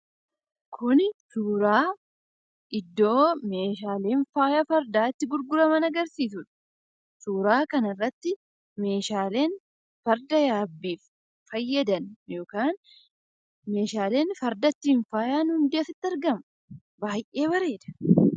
Kuni suuraa iddoo meeshaaleen faaya fardaa itti gurguraman agarsiisuu dha. Suuraa kanarratti meeshaaleen farda yaabbiif fayyadan yookaan meeshaaleen farda ittiin faayan hundi asitti argamu. Baay'ee bareeda.